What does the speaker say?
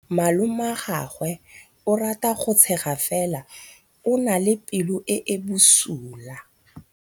Malomagwe o rata go tshega fela o na le pelo e e bosula.